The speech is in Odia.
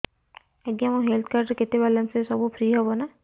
ଆଜ୍ଞା ମୋ ହେଲ୍ଥ କାର୍ଡ ରେ କେତେ ବାଲାନ୍ସ ଅଛି ସବୁ ଫ୍ରି ହବ ନାଁ